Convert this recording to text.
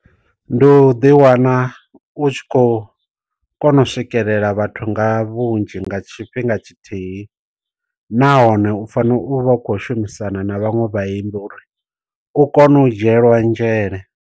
Ndi u ḓi wana u tshi khou kona u swikelela vhathu nga vhunzhi nga tshifhinga tshithihi. Nahone u fanela u vha u khou shumisana na vhaṅwe vhaimbi uri u kone u dzhielwa nzhele.